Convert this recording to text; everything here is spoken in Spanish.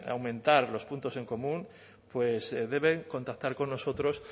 aumentar los puntos en común pues deben contactar con nosotros